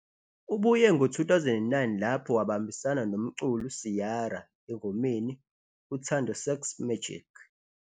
Ubuye ngo-2009 lapho wabambisana umculi Ciara engomeni "Uthando sex magic'.